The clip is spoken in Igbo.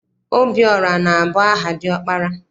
Obiọra na- abụ aha diọkpara.